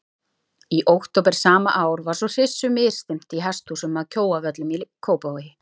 Í október sama ár var svo hryssu misþyrmt í hesthúsum að Kjóavöllum í Kópavogi.